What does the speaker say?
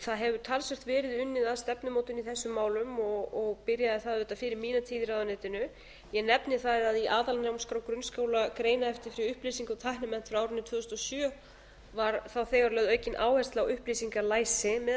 það hefur talsvert verið unnið að stefnumótun í þessum málum og byrjaði það auðvitað fyrir mína tíð í ráðuneytinu ég nefni það að í aðalnámskrá grunnskóla xxxx eftir tæknimennt frá árinu tvö þúsund og sjö var þá þegar lögð aukin áhersla á upplýsingalæsi meðal